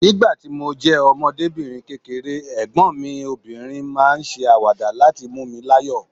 Nígbà tí mo jẹ́ ọmọdébìnrin kékeré, ẹ̀gbọ́n mi obìnrin máa ń ṣe àwàdà láti mú mi láyọ̀